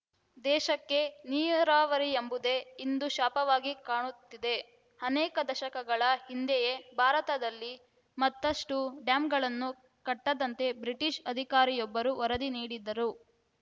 ದೇಶಕ್ಕೆ ನೀರಾವರಿಯೆಂಬುದೇ ಇಂದು ಶಾಪವಾಗಿ ಕಾಣುತ್ತಿದೆ ಅನೇಕ ದಶಕಗಳ ಹಿಂದೆಯೇ ಭಾರತದಲ್ಲಿ ಮತ್ತಷ್ಟುಡ್ಯಾಂಗಳನ್ನು ಕಟ್ಟದಂತೆ ಬ್ರಿಟೀಷ್‌ ಅಧಿಕಾರಿಯೊಬ್ಬರು ವರದಿ ನೀಡಿದ್ದರು